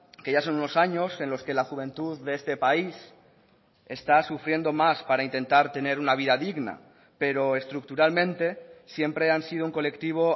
que ya son unos años en los que la juventud de este país está sufriendo más para intentar tener una vida digna pero estructuralmente siempre han sido un colectivo